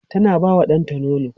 tana ba wa ɗanta nono